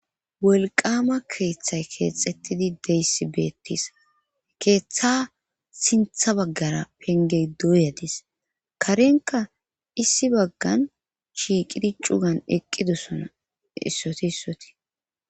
Wolqama keeththay keexettidi deyssi beettis keeththa sintha baggara penge doyadis karenka issi baggan shiiqidi cugan eqqidosona issoti issotii